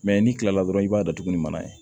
n'i kilala dɔrɔn i b'a datugu ni mana ye